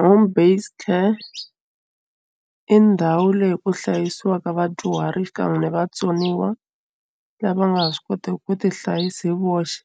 Home based care i ndhawu leyi ku hlayisiwaka vadyuhari xikan'we vatsoniwa lava nga ha swi koteki ku ti hlayisa hi voxe